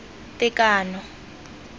tekano